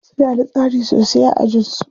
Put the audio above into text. Suna da tsari sosai a ajin su.